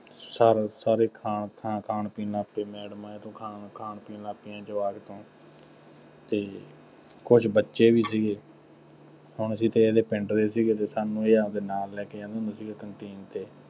sir ਸਾਰੇ ਖਾਣ, ਖਾਣ-ਪੀਣ ਵਾਸਤੇ ਮੈਡਮਾਂ ਇਹ ਤੋਂ ਖਾਣ ਖਾਣ ਪੀਣ ਲੱਗ ਪਈਆਂ ਜਵਾਕ ਤੋਂ ਅਤੇ ਕੁੱਝ ਬੱਚੇ ਵੀ ਸੀਗੇ ਹੁਣ ਅਸੀਂ ਤੇ ਇਹਦੇ ਪਿੰਡ ਦੇ ਸੀਗੇ ਅਤੇ ਸਾਨੂੰ ਇਹ ਆਪਦੇ ਨਾਲ ਲੈ ਕੇ ਜਾਂਦਾ ਹੁੰਦਾ ਸੀਗਾ ਕੰਨਟੀਨ ਤੇ,